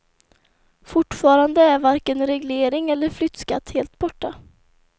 Fortfarande är varken reglering eller flyttskatt helt borta.